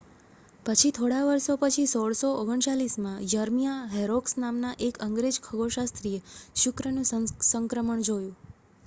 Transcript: પછી થોડાં વર્ષો પછી 1639 માં યર્મિયા હોરોક્સ નામનાં એક અંગ્રેજ ખગોળશાસ્ત્રીએ શુક્રનું સંક્રમણ જોયું